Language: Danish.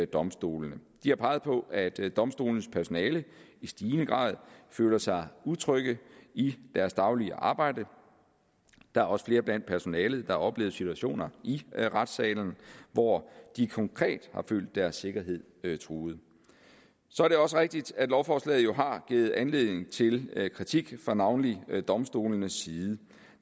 domstolene de har peget på at domstolenes personale i stigende grad føler sig utrygge i deres daglige arbejde der er også flere blandt personalet der har oplevet situationer i retssalen hvor de konkret har følt deres sikkerhed truet så er det også rigtigt at lovforslaget har givet anledning til kritik fra navnlig domstolenes side